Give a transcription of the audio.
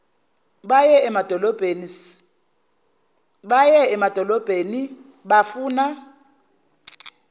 baye emadolobheni sifuna